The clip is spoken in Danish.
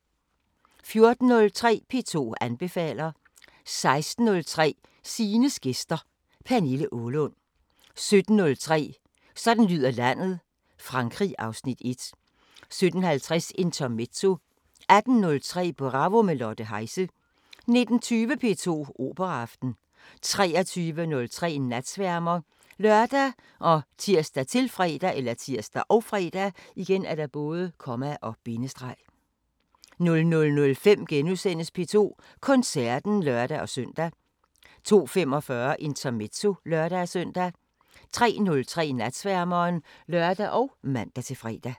14:03: P2 anbefaler 16:03: Stines gæster: Pernille Aalund 17:03: Sådan lyder landet: Frankrig (Afs. 1) 17:50: Intermezzo 18:03: Bravo – med Lotte Heise 19:20: P2 Operaaften 23:03: Natsværmeren ( lør, tir, -fre) 00:05: P2 Koncerten *(lør-søn) 02:45: Intermezzo (lør-søn) 03:03: Natsværmeren (lør og man-fre)